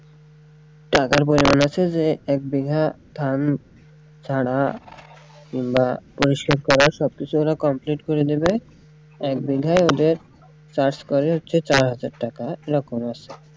টাকার প্রয়োজন আছে যে এক বিঘা ধান ছাড়া বা সাথে ওরা complete করে নিবে এক বিঘায় ওদের চাষ করে হচ্ছে চার হাজার টাকা ওইরকম আরকি।